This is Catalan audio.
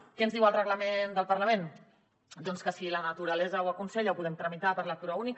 què ens diu el reglament del parlament doncs que si la naturalesa ho aconsella ho podem tramitar per lectura única